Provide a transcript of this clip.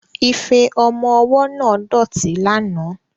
Ife ọmọ ọwọ́ náà dọ̀tí lánàá